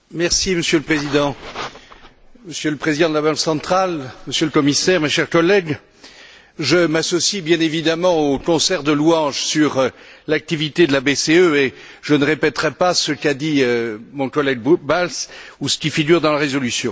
Monsieur le Président, Monsieur le Président de la Banque centrale, Monsieur le Commissaire, chers collègues, je m'associe bien évidemment au concert de louanges sur l'activité de la BCE, et je ne répéterai pas ce qu'a dit mon collègue Balz ou ce qui figure dans la résolution.